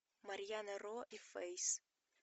марьяна ро и фейс